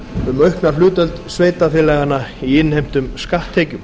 um aukna hlutdeild sveitarfélaganna í innheimtum skatttekjum